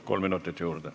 Kolm minutit juurde.